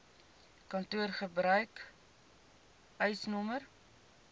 kantoor gebruik eisnr